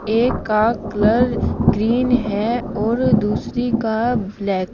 एक का colour green है और दूसरी का ब्लैक ।